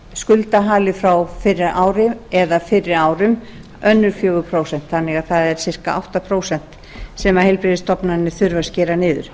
skuldahali frá fyrra ári eða fyrri árum önnur fjögur prósent þannig að það er um það bil átta prósent sem heilbrigðisstofnanir þurfa að skera niður